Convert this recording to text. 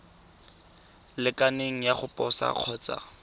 lekaneng ya go posa kgotsa